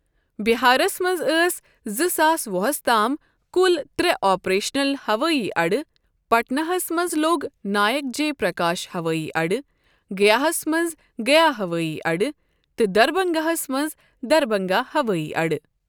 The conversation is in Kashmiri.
بہارس منٛز ٲسۍ زٕ ساس وُہس تام کُل ترٛےٛ آپریشنل ہوٲئی اَڈٕ پٹنہ ہَس منٛز لوک نائک جے پرکاش ہوٲئی اَڈٕ، گیا ہَس منٛز گیا ہوٲئی اَڈٕ، تہٕ دربھنگہ ہَس منٛز دربھنگا ہوٲئی اَڈٕ